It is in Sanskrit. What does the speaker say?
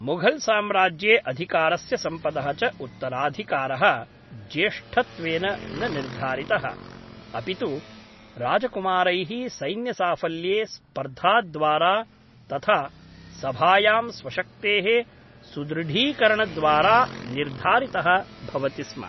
मुघल् साम्राज्ये अधिकारस्य सम्पदः च उत्तराधिकारः ज्येष्ठत्वेन न निर्धारितः अपितु राजकुमारैः सैन्यसाफल्ये स्पर्धाद्वारा तथा सभायां स्वशक्तेः सुदृढीकरणद्वारा निर्धारितः भवति स्म।